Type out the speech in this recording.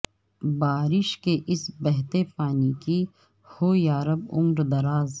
بارش کے اس بہتے پانی کی ہو یارب عمر دراز